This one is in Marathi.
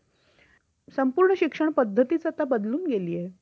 शहाणपणाचे ठरेल केवळ दायित्व संरक्षणाला act only cover असेही म्हणले जाते